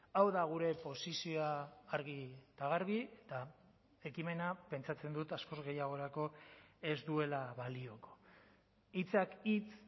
hau da gure posizioa argi eta garbi eta ekimena pentsatzen dut askoz gehiagorako ez duela balioko hitzak hitz